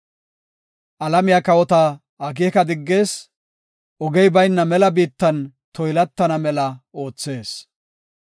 Alamiya kawota akeeka diggees; ogey bayna mela biittan toylatana mela oothees.